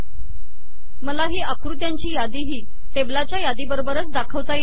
मला ही आकृत्यांची यादीही टेबलाच्या यादीबरोबरच दाखवता येते